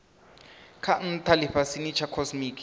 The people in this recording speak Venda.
ha ntha lifhasini tsha cosmic